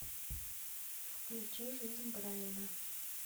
включи жизнь брайана